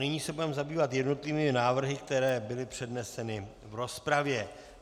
Nyní se budeme zabývat jednotlivými návrhy, které byly předneseny v rozpravě.